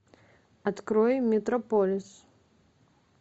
открой метрополис